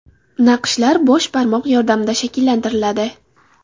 Naqshlar bosh barmoq yordamida shakllantiriladi.